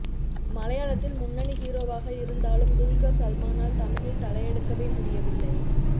மலையாளத்தில் முன்னணி ஹீரோவாக இருந்தாலும் துல்கர் சல்மானால் தமிழில் தலையெடுக்கவே முடியவில்லை